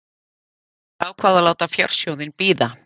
Þær ákváðu að láta fjársjóðinn bíða.